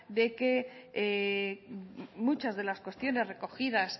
de que muchas de las cuestiones recogidas